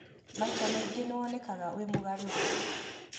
Maita maingĩ nĩwonekaga wĩ mũgarũre.